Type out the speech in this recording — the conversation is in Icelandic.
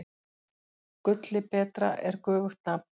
Gulli betra er göfugt nafn.